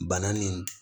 Bana nin